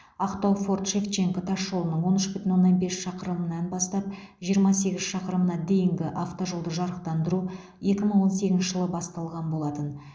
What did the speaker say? ақтау форт шевченко тас жолының он үш бүтін оннан бес шақырымынан бастап жиырма сегіз шақырымына дейінгі автожолды жарықтандыру екі мың он сегізінші жылы басталған болатын